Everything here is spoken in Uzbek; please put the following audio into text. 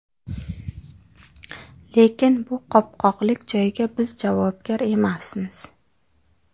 Lekin bu qopqoqlik joyga biz javobgar emasmiz.